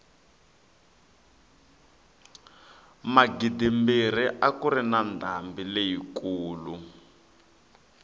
magidimbirhi a kuri na ndhambi leyi kulu